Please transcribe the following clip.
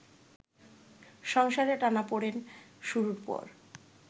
সংসারে টানাপড়েন শুরুর পর